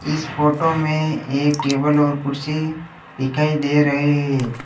इस फोटो में एक टेबल और कुर्सी दिखाई दे रहे है।